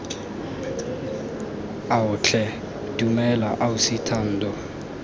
ao tlhe dumela ausi thando